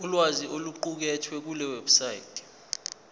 ulwazi oluqukethwe kulewebsite